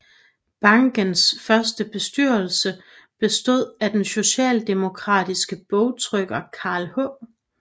Bankens første bestyrelse bestod af den socialdemokratiske bogtrykker Carl H